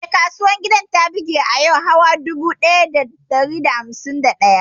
Eh, kasuwar gida ta buɗe a yau awa dubu ɗaya da ɗari takwas da hamsin da ɗaya.